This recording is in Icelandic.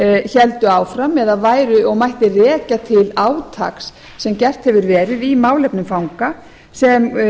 héldu áfram og mætti rekja til átaks sem gert hefur verið í málefnum fanga sem